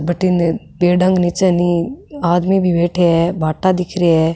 बठीने पेड़ा के नीचे नी आदमी भी बैठया है भाटा दिख रिया है।